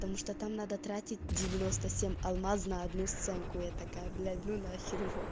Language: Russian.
потому что там надо тратить алмазная одну стенку я такая блин у нас